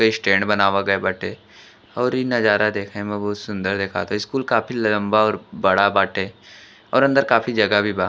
ओरी स्टैंड बनावल गिल बाटे और इ नजर देखे में बहुत सुंदर लग ता स्कूल काफी लम्बा और बड़ा बाटे और काफी सुंदर बा --